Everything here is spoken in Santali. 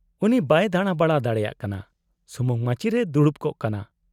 -ᱩᱱᱤᱭ ᱵᱟᱭ ᱫᱟᱸᱲᱟᱵᱟᱲᱟ ᱫᱟᱲᱮᱭᱟᱜ ᱠᱟᱱᱟ, ᱥᱩᱢᱩᱝ ᱢᱟᱪᱤ ᱨᱮᱭ ᱫᱩᱲᱩᱵ ᱠᱚᱜ ᱠᱟᱱᱟ ᱾